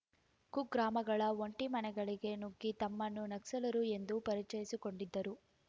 ಕುಗ್ರಾಮಗಳ ಒಂಟಿ ಮನೆಗಳಿಗೆ ನುಗ್ಗಿ ತಮ್ಮನ್ನು ನಕ್ಸಲರು ಎಂದು ಪರಿಚಯಿಸಿಕೊಂಡಿದ್ದರು